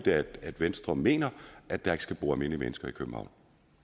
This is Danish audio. at venstre mener at der ikke skal bo almindelige mennesker i københavn